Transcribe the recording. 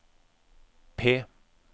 P